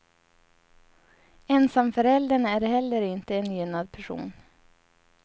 Ensamföräldern är heller inte en gynnad person.